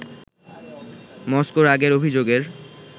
মস্কোর আগের অভিযোগের